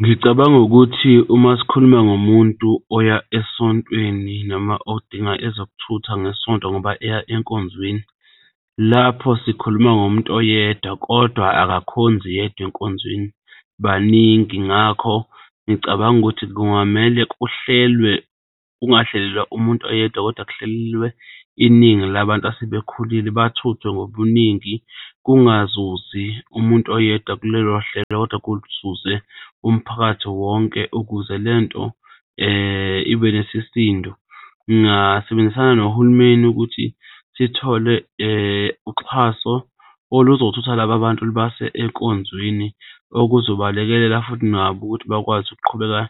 Ngicabanga ukuthi uma sikhuluma ngomuntu oya esontweni noma odinga ezokuthutha ngeSonto ngoba eya enkonzweni lapho sikhuluma ngomuntu oyedwa kodwa akakhonzi yedwa enkonzweni, baningi. Ngakho ngicabanga ukuthi kungamele kuhlelwe, kungahlelelwa umuntu oyedwa, kodwa kuhlelelwe iningi labantu asebekhulile bathuthwe ngobuningi, kungazuzi umuntu oyedwa kulelo hlelo kodwa kuzuze umphakathi wonke ukuze le nto ibe nesisindo. Ngingasebenzisana nohulumeni ukuthi sithole uxhaso oluzothutha laba bantu lubase enkonzweni okuzobalekelela futhi nabo ukuthi bakwazi ukuqhubeka